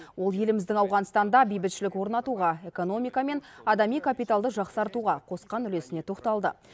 ол еліміздің ауғанстанда бейбітшілік орнатуға экономика мен адами капиталды жақсартуға қосқан үлесіне тоқталды